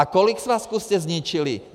A kolik svazků jste zničili?